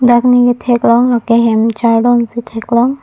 ladak ne katheklong lake hem chardon si theklong.